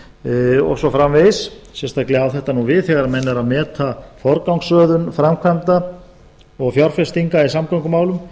samgöngum og svo framvegis sérstaklega á þetta nú við þegar menn eru að meta forgangsröðun framkvæmda og fjárfestinga í samgöngumálum